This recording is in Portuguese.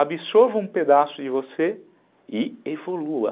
absorva um pedaço de você e evolua.